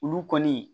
Olu kɔni